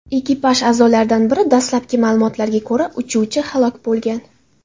Ekipaj a’zolaridan biri, dastlabki ma’lumotlarga ko‘ra, uchuvchi halok bo‘lgan.